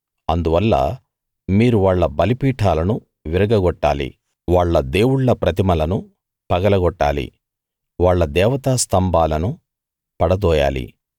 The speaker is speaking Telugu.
అందువల్ల మీరు వాళ్ళ బలిపీఠాలను విరగగొట్టాలి వాళ్ళ దేవుళ్ళ ప్రతిమలను పగలగొట్టాలి వాళ్ళ దేవతా స్తంభాలను పడదోయాలి